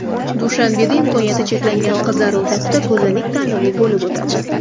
Dushanbeda imkoniyati cheklangan qizlar o‘rtasida go‘zallik tanlovi bo‘lib o‘tadi.